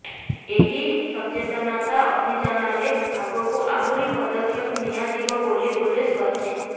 ଏହି ସଚେତନତା ଅଭିଯାନରେ ଆଗକୁ ଆହୁରି ପଦକ୍ଷେପ ନିଆଯିବ ବୋଲି ପୁଲିସ କହିଛି